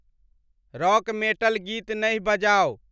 Rock metal गीत नहि बजाउ ।